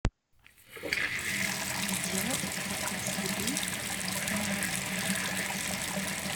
сделать заказ еды в номер